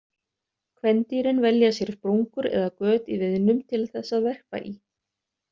Kvendýrin velja sér sprungur eða göt í viðnum til þess að verpa í.